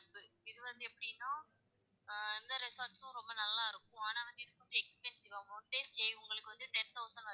இது வந்து எப்படினா, ஆஹ் இந்த resort டும் ரொம்ப நல்லா இருக்கும் ஆனா? வந்து, இங்க expensive one day stay உங்களுக்கு வந்து ten thousand வரைக்கும்